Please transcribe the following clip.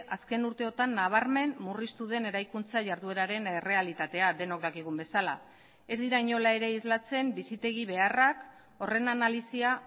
azken urteotan nabarmen murriztu den eraikuntza jardueraren errealitatea denok dakigun bezala ez dira inola ere islatzen bizitegi beharrak horren analisia